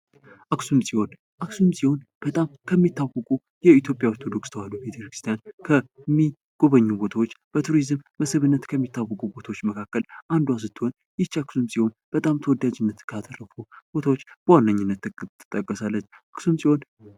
አክሱም ጽዮን ፦አክሱም ጽዮን በጣም ከሚታወቁ የኢትዮጵያ ኦርቶዶክስ ተዋሕዶ ቤተክርስቲያን የሚጎበኙ ቦታዎች ፣ በቱሪዝም መስህብነት ከሚታወቁ ቦታዎች መካከል አንዷ ስትሆን አክሱም ጽዮን በጣም ተወዳጅነት ካተረፉ ቦታዎች በዋነኝነት ትጠቀሳለች አክሱም ጽዮን።